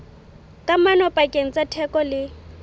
kamano pakeng tsa theko le